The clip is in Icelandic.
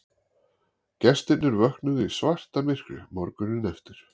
Gestirnir vöknuðu í svartamyrkri morguninn eftir